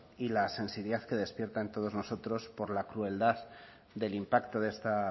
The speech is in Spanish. y la sensibilidad que despierta en todos nosotros por la crueldad del impacto de esta